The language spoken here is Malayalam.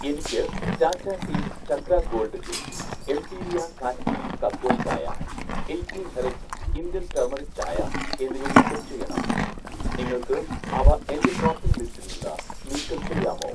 എനിക്ക് 'Tata tea Chakra gold tea', 'എംപീരിയ Kashmiri kahwa chai', 'eighteen herbs Indian turmeric chai' എന്നിവ നീക്കം ചെയ്യണം, നിങ്ങൾക്ക് അവ എന്‍റെ ഷോപ്പിംഗ് ലിസ്റ്റിൽ നിന്ന് നീക്കം ചെയ്യാമോ